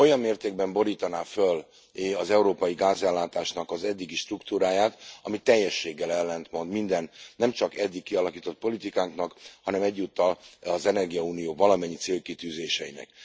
Olyan mértékben borítaná föl az európai gázellátásnak az eddigi struktúráját, ami teljességgel ellentmond minden nemcsak eddig kialakított politikánknak, hanem egyúttal az energiaunió valamennyi célkitűzéseinek.